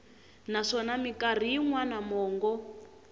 naswona mikarhi yin wana mongo